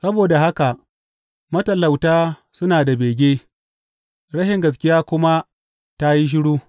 Saboda haka matalauta suna da bege, rashin gaskiya kuma ta yi shiru.